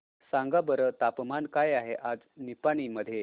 सांगा बरं तापमान काय आहे आज निपाणी मध्ये